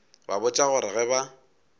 ba botša gore ge ba